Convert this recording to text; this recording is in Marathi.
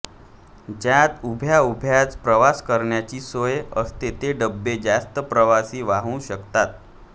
ज्यात उभ्याउभ्याच प्रवास करण्याची सोय असते ते डबे जास्त प्रवासी वाहू शकतात